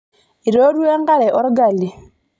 Eitootua enkare olgali.